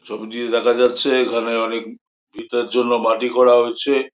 চোখ দিয়ে দেখা যাচ্ছে এখানে অনেক ভিটার জন্য মাটি খোরা হচ্ছে।